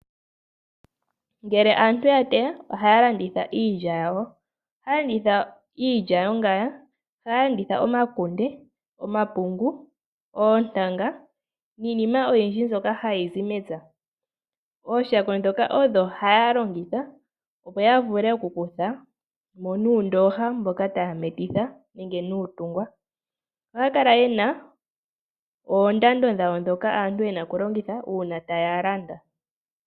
Ngele aantu ya teya, oha ya landitha iilya yawo, oha yalanditha iilya yongaya, omakunde, omapungu, oontanga, niinima oyindji mbyoka ha yizi mepya. Ooshako ndhoka odho hayalongitha opo yavule okunkuthamo nuundooha mboka taya metitha nenge nuutungwa, oha ya kala yena oondando dhayo dhoka aantu yena okulongitha uuna taya landa.